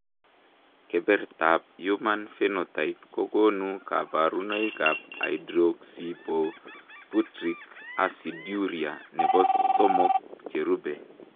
Kebertab Human Phenotype kokonu kabarunoikab Hydroxyisobutyric aciduria nebo somok cherube.